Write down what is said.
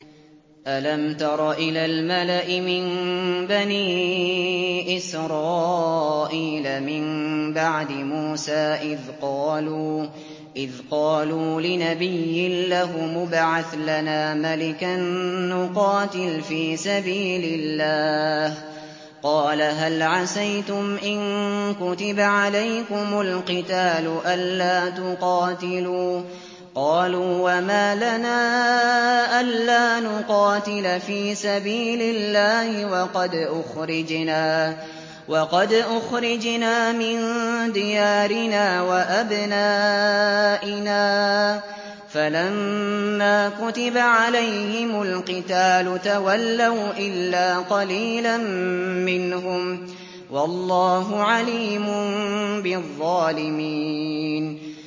أَلَمْ تَرَ إِلَى الْمَلَإِ مِن بَنِي إِسْرَائِيلَ مِن بَعْدِ مُوسَىٰ إِذْ قَالُوا لِنَبِيٍّ لَّهُمُ ابْعَثْ لَنَا مَلِكًا نُّقَاتِلْ فِي سَبِيلِ اللَّهِ ۖ قَالَ هَلْ عَسَيْتُمْ إِن كُتِبَ عَلَيْكُمُ الْقِتَالُ أَلَّا تُقَاتِلُوا ۖ قَالُوا وَمَا لَنَا أَلَّا نُقَاتِلَ فِي سَبِيلِ اللَّهِ وَقَدْ أُخْرِجْنَا مِن دِيَارِنَا وَأَبْنَائِنَا ۖ فَلَمَّا كُتِبَ عَلَيْهِمُ الْقِتَالُ تَوَلَّوْا إِلَّا قَلِيلًا مِّنْهُمْ ۗ وَاللَّهُ عَلِيمٌ بِالظَّالِمِينَ